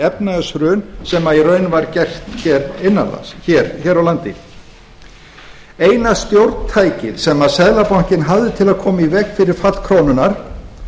efnahagshrun sem í raun var gert hér á landi eina stjórntækið sem seðlabankinn hafði til að koma í veg fyrir fall krónunnar